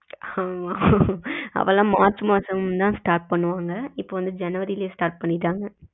ஆமா அப்போ எல்லாம் மார்ச் மாசம் தான் start பண்ணுவாங்க இப்போ வந்து ஜனவரிலயே start பண்ணிட்டாங்க.